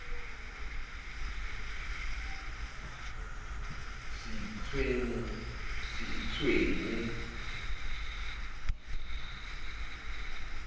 se itshwenye le ho itshwenya